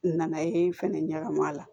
N nana ye fɛnɛ ɲagami a la